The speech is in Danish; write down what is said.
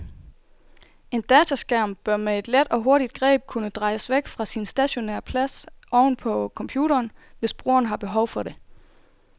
En dataskærm bør med et let og hurtigt greb kunne drejes væk fra sin stationære plads oven på computeren, hvis brugeren har behov for det.